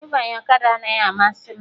Ịbanye ọkada anaghị amasị m